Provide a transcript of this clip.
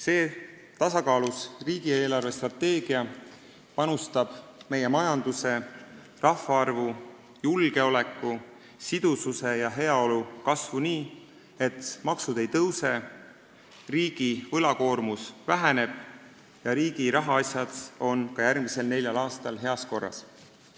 See tasakaalus riigi eelarvestrateegia panustab meie majanduse, rahvaarvu, julgeoleku, sidususe ja heaolu kasvu nii, et maksud ei tõuse, riigi võlakoormus väheneb ja riigi rahaasjad on ka järgmisel neljal aastal heas korras.